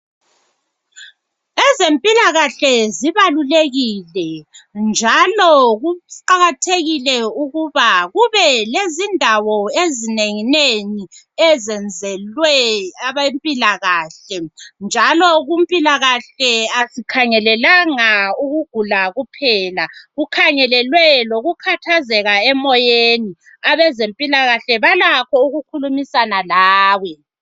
Ezempilakahle zibalulekile njalo kuqakathekile ukuba kube lezindawo ezinengi nengi ezenzelwe abe mpilakahle. Njalo kumpilakahle asikhangelelanga ukugula kuphela. Kukhangelelwe lokukhathazeka emoyeni. Abezempilakahle balakho ukukhulumisana lawe.